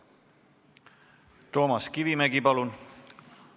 Toomas Kivimägi, palun!